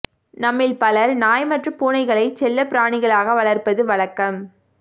நம்மில் பலர் நாய் மற்றும் பூனைகளை செல்லப்பிராணிகளாக வளர்ப்பது வழக்கம்